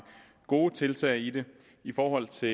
gode tiltag i det i forhold til